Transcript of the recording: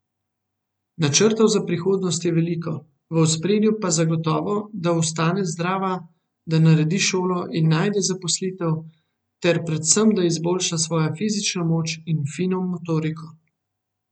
Načrtov za prihodnost je veliko, v ospredju pa zagotovo, da ostane zdrava, da naredi šolo in najde zaposlitev ter predvsem da izboljša svojo fizično moč in fino motoriko.